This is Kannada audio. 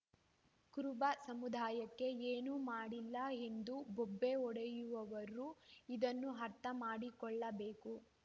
ಕುರುಬ ಸಮುದಾಯಕ್ಕೆ ಏನು ಮಾಡಿಲ್ಲ ಎಂದು ಬೊಬ್ಬೆ ಹೊಡೆಯುವವರು ಇದನ್ನು ಅರ್ಥ ಮಾಡಿಕೊಳ್ಳಬೇಕು